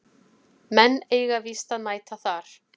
Menn eiga víst að mæta þar